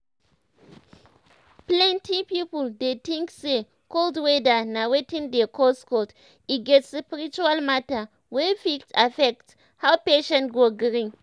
plenty people dey tink say cold weather na wetin dey cause cold e get spiritual matter wey fit affect how patient go gree.